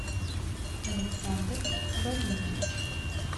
александр вадимович